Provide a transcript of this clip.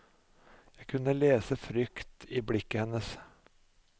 Jeg kunne lese frykt i blikket hennes.